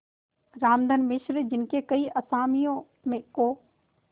रामधन मिश्र जिनके कई असामियों को